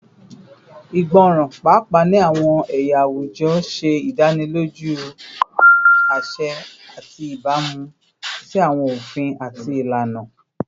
Igbọran, paapaa ni awọn ẹya awujọ, ṣe idaniloju aṣẹ ati ibamu si awọn ofin ati ilana